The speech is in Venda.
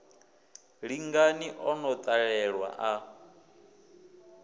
lingani o no ḓalelwa a